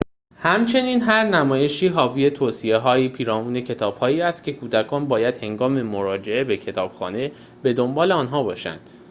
همچنین هر نمایش حاوی توصیه‌هایی پیرامون کتابهایی است که کودکان باید هنگام مراجعه به کتابخانه به دنبال آنها باشند